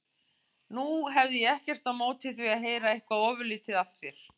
Nú hefði ég ekkert á móti því að heyra eitthvað ofurlítið af þér.